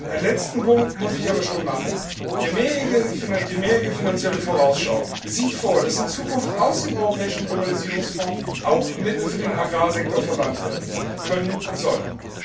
Einen letzten Punkt muss ich aber schon noch ansprechen Die mehrjährige Finanzielle Vorausschau sieht vor, dass in Zukunft aus dem europäischen Globalisierungsfonds auch Mittel für den Agrarsektor verwendet werden können und sollen.